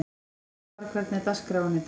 Ástvar, hvernig er dagskráin í dag?